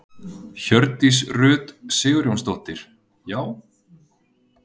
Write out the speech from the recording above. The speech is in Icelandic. Hjördís Rut Sigurjónsdóttir: Já?